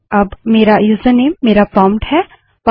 अब मेरा यूजरनेम मेरा प्रोंप्ट है